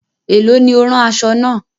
Ẹ̀lọ́ ni o rán aṣọ̣ náà?